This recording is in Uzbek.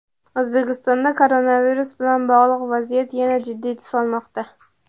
O‘zbekistonda koronavirus bilan bog‘liq vaziyat yana jiddiy tus olmoqda.